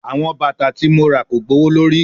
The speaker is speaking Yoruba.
Awọn bata ti mo ra ko gbowolori